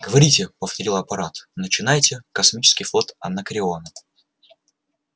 говорите повторил апорат начинайте космический флот анакреона